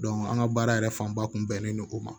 an ka baara yɛrɛ fanba kun bɛnnen don o ma